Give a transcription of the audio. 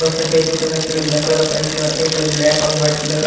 और सफेद कलर का शर्ट पहना ब्लैक कलर पैंट पहना और एक ने ब्लैक और व्हाईट कलर का--